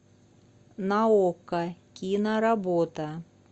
на окко киноработа